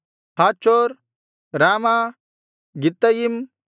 ಹಾಚೋರ್ ರಾಮಾ ಗಿತ್ತಯಿಮ್